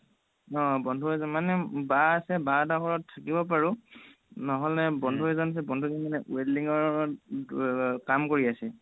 অ বন্ধু এজন মানে বা আছে বাহঁতৰ ঘৰত থাকিব পাৰোঁ নহ'লে বন্ধু এজন আছে বন্ধুজন মানে welding ৰ কাম কৰি আছে